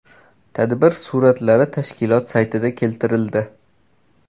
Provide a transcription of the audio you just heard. Tadbir suratlari tashkilot saytida keltirildi.